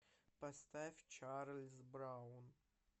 поставь чарльз браун